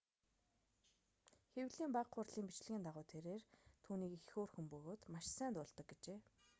хэвлэлийн бага хурлын бичлэгийн дагуу тэрээр түүнийг их хөөрхөн бөгөөд маш сайн дуулдаг гэжээ